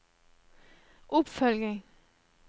oppfølging